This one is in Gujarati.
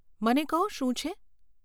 મને કહો, શું છે?